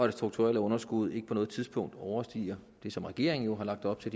det strukturelle underskud ikke på noget tidspunkt overstiger det som regeringen jo har lagt op til